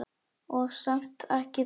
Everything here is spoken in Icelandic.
Og samt ekki þoka.